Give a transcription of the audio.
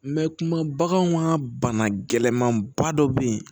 kuma baganw ka bana gɛlɛnman ba dɔ bɛ yen